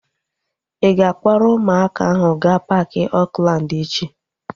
Ị ga-akpọrọ ụmụaka ahu gaa paaki Oakland echi?